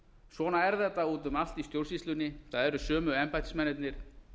svona er þetta út um allt í stjórnsýslunni það eru sömu embættismennirnir